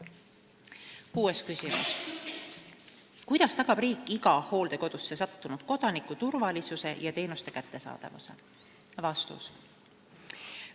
Kuues küsimus: "Kuidas tagab riik iga hooldekodusse sattunud kodaniku turvalisuse ja teenuste kättesaadavuse?